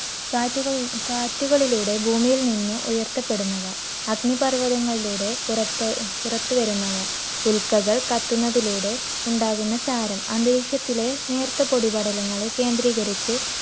കാറ്റുകളി~ കാറ്റുകളിലൂടെ ഭൂമിയിൽനിന്ന് ഉയർത്തപ്പെടുന്നവ. അഗ്നിപർവതങ്ങളിലൂടെ പുറത്തു~ പുറത്തുവരുന്നവ, ഉൽക്കകൾ കത്തുന്നതിലൂടെ ഉണ്ടാവുന്ന ചാരം, അന്തരീക്ഷത്തിലെ നേർത്ത പൊടിപടലങ്ങളെ കേന്ദ്രീകരിച്ച്